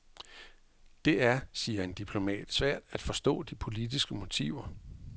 Det er, siger en diplomat, svært at forstå de politiske motiver.